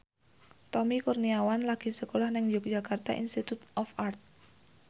Tommy Kurniawan lagi sekolah nang Yogyakarta Institute of Art